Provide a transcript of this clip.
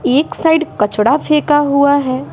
एक साइड कचड़ा फेंका हुआ है।